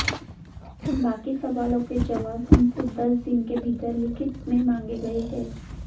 बाकी सवालों के जवाब उनसे दस दिन के भीतर लिखित में मांगें गए हैं